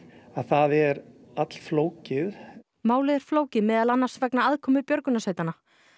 að það er allflókið málið er flókið meðal annars vegna aðkomu björgunarsveitanna